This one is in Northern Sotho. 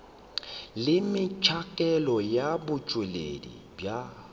le metšhakelo ya botšweletši bja